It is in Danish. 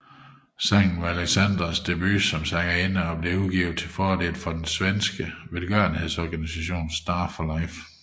Sangen var Alexandras debut som sangerinde og blev udgivet til fordel for den svenske velgørenhedsorganisation Star for Life